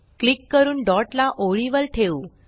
click करून dot ला ओळी वर ठेऊ